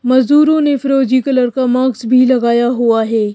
मजदूरों ने फिरोजी कलर का मास्क भी लगाया हुआ है।